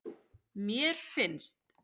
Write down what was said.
Mér finnst.